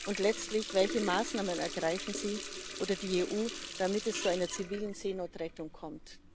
Und letztlich Welche Maßnahmen ergreifen Sie oder ergreift die EU, damit es zu einer zivilen Seenotrettung kommt?